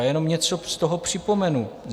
A jenom něco z toho připomenu.